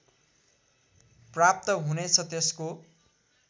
प्राप्त हुनेछ त्यसको